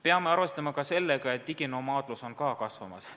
Peame arvestama ka sellega, et diginomaadluski on kasvamas.